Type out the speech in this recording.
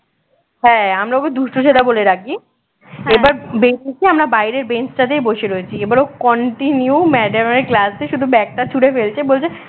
হ্যাঁ আমরা ওকে দুষ্টু ছেদা বলে ডাকি এবার বেরিয়ে এসে আমরা বাহিরের বেঞ্চটাতেই বসে রয়েছি এবার ও continue madam এর class এ শুধু bag টা ছুড়ে ফেলছে বলছে